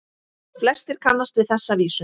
Flestir kannast við þessa vísu